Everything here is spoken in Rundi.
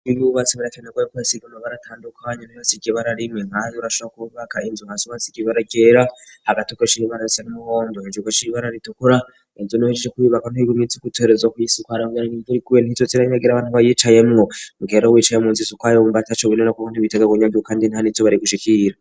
ibibbubatsi barakenaguye koyasigama baratandukanya nabbasigibararimwe nkay urashara kububaka inzu hasubatsi ikibara kera hagatokosh'iribarase n'umuhondo isugo sh ibibara ritukura inzu niuhejse ku bibaka ntohigumyitsi ku itoherezo ku yisukaramweranya imvuri kube ntitso tsiranyagira abantu bayicaye mwo mukeero wicaye mu nzi zukayo bumba taco bine no kuko ntibitega gnyagiru kandi nta nitso bare gushikira